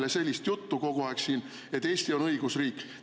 Nii et ärge ajage meile siin kogu aeg sellist juttu, et Eesti on õigusriik.